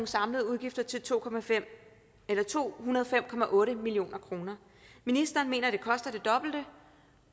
samlede udgifter til to to hundrede og fem million kroner ministeren mener at det koster det dobbelte